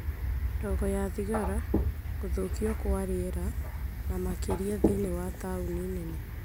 ndogo ya thigara, gũthũkio kwa rĩera, na makĩria thĩinĩ wa taũni nene,